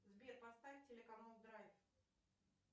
сбер поставь телеканал драйв